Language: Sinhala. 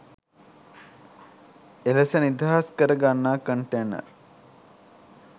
එලෙස නිදහස් කර ගන්නා කන්ටේනර්